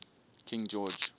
king george